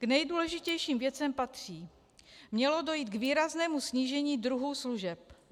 K nejdůležitějším věcem patří: Mělo dojít k výraznému snížení druhů služeb.